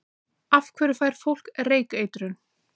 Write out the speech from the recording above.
Af hverju fær fólk reykeitrun?